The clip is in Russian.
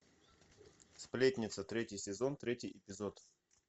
сплетница третий сезон третий эпизод